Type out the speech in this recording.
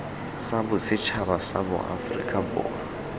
sa bosetšhaba sa aforika borwa